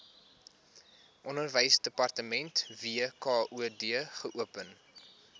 onderwysdepartement wkod geopen